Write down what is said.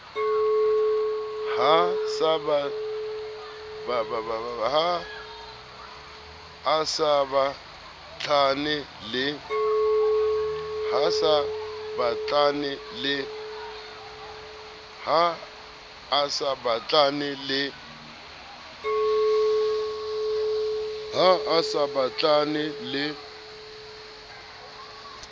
ha a sa batlane le